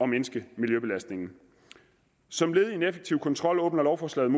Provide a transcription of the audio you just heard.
mindske miljøbelastningen som led i en effektiv kontrol åbner lovforslaget